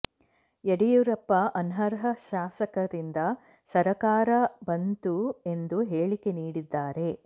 ಯಡಿಯೂರಪ್ಪ ಅನರ್ಹ ಶಾಸಕರಿಂದ ಸರ್ಕಾರ ಬಂತು ಎಂದು ಹೇಳಿಕೆ ನೀಡಿದ್ದಾರೆ